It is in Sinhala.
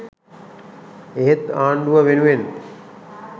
එහෙත් ආණ්ඩුව වෙනුවෙන්